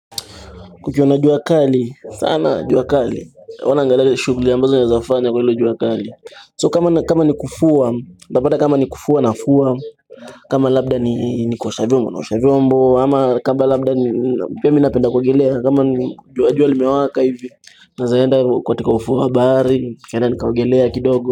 Kukiwa na juakali, sana jua kali huwa naangalia ile shughuli ambazo naezafanya kwa hilo juakali So kama ni kufua, ndapata kama ni kufua nafua kama labda ni kuosha vyombo, naosha vyombo ama kama labda ni pia mimi napenda kuogelea kama jua jua limewaka hivi Naeza enda katika ufuo bahari nikaenda nikaogelea kidogo.